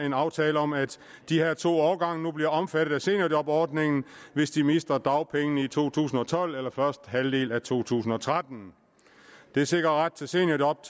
en aftale om at de her to årgange nu bliver omfattet af seniorjobordningen hvis de mister dagpengene i to tusind og tolv eller første halvdel af to tusind og tretten det sikrer ret til seniorjob